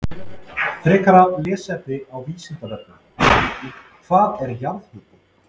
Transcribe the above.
Frekara lesefni á Vísindavefnum: Hvað er jarðhiti?